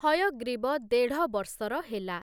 ହୟଗ୍ରୀବ ଦେଢ଼ ବର୍ଷର ହେଲା ।